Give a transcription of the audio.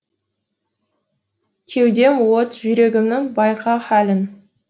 кеудем от жүрегімнің байқа халін